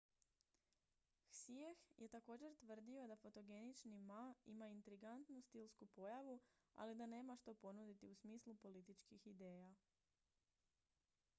hsieh je također tvrdio da fotogenični ma ima intrigantnu stilsku pojavu ali da nema što ponuditi u smislu političkih ideja